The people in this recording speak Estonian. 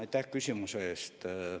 Aitäh küsimuse eest!